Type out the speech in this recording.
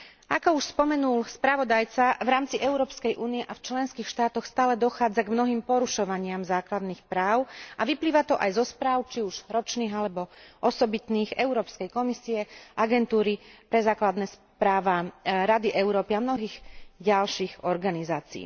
Ako už spomenul spravodajca, v rámci Európskej únie a v členských štátoch stále dochádza k mnohým porušovaniam základných práv a vyplýva to aj zo správ, či už ročných, alebo osobitných Európskej komisie, agentúry pre základné práva, Rady Európy a mnohých ďalších organizácií.